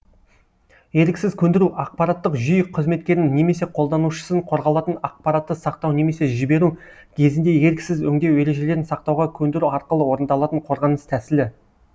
еріксіз көндіру ақпараттық жүйе қызметкерін немесе қолданушысын қорғалатын ақпаратты сақтау немесе жіберу кезінде еріксіз өңдеу ережелерін сақтауға көндіру арқылы орындалатын қорғаныс тәсілі